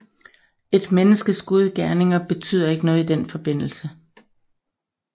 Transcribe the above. Et menneskes gode gerninger betyder ikke noget i den forbindelse